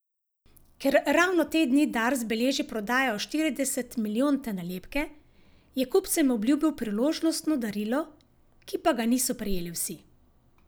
Ker ravno te dni Dars beleži prodajo štirideset milijonte nalepke, je kupcem obljubil priložnostno darilo, ki pa ga niso prejeli vsi.